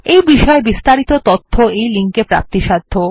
এই বিষয়ে বিস্তারিত তথ্য এই লিঙ্কে প্রাপ্তিসাধ্য